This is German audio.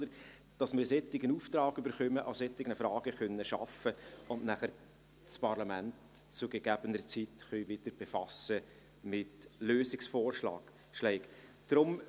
Wir brauchen einen solchen Auftrag, um an solchen Fragen arbeiten und nachher das Parlament zu gegebener Zeit wieder mit Lösungsvorschlägen befassen zu können.